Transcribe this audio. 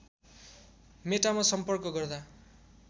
मेटामा सम्पर्क गर्दा